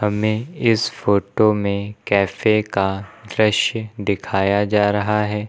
हमें इस फोटो में कैफे का दृश्य दिखाया जा रहा है।